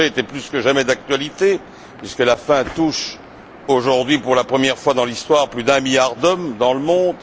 Le sujet était plus que jamais d'actualité puisque la faim touche aujourd'hui, pour la première fois dans l'histoire, plus d'un milliard d'hommes dans le monde.